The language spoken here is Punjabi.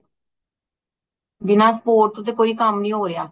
ਬਿਨਾ support ਤੇ ਕੋਈ ਕਮ ਨਹੀਂ ਹੋ ਰਿਹਾ